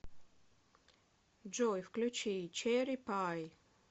джой включи черри пай